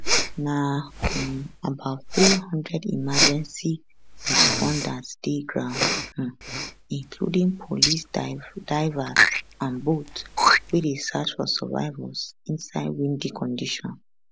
na um about 300 emergency responders dey ground um including police divers and boats wey dey search for survivors inside windy condition